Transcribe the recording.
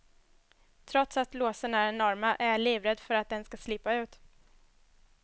Trots att låsen är enorma är jag livrädd för att den ska slippa ut.